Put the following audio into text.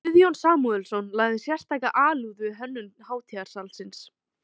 Guðjón Samúelsson lagði sérstaka alúð við hönnun hátíðarsalarins.